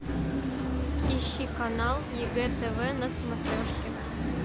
ищи канал егэ тв на смотрешке